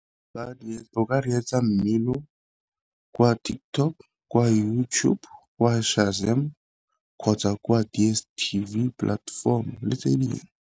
O ka reetsa mmino kwa TikTok, kwa YouTube, kwa kgotsa kwa DStv platform le tse dingwe.